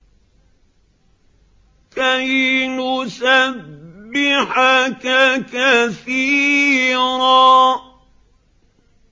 كَيْ نُسَبِّحَكَ كَثِيرًا